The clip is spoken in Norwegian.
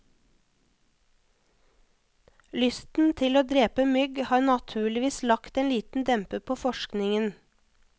Lysten til å drepe mygg har naturligvis lagt en liten demper på forskningen.